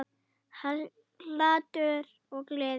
Hlátur og gleði.